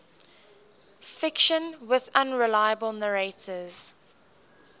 fiction with unreliable narrators